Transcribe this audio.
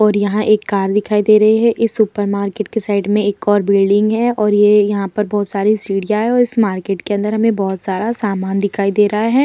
और यहाँ एक कार दिखाई दे रही है ये सुपर मार्केट के साइड में एक और बिल्डिंग है और ये यहाँ पर बहुत सारी सीढ़ियाँ है और इस मार्केट के अंदर हमें बहुत सारा सामान दिखाई दे रहा है ।